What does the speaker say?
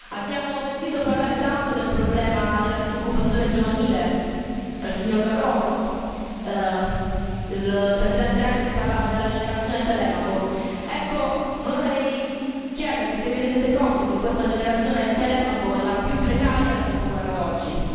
Abbiamo sentito parlare tanto del problema della disoccupazione giovanile dal signor Barroso il presidente Renzi parlava della generazione Telemaco vorrei chiedervi se vi rendete conto che questa generazione Telemaco è la più precaria dal dopoguerra ad oggi.